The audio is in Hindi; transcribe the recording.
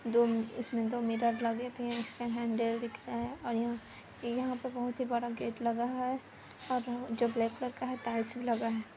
दो इसमें दो मिरर लगे थे इसके हैंडल दिख रहा है और यहा यहा पे बहुत ही बड़ा गेट लगा है और जो जो ब्लैक कलर का है टाइल्स भी लगा है।